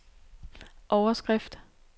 overskrift